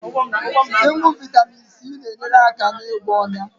Ịṅụ Vaitamin C na-enyere aka na-ịgwọ onya